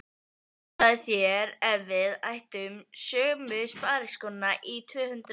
Hugsaðu þér ef við ættum sömu spariskóna í tvö-hundruð ár!